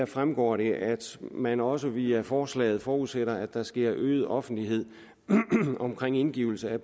fremgår at man også via forslaget forudsætter at der sker øget offentlighed omkring indgivelse af